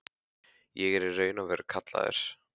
Ég er í raun og veru kallaður.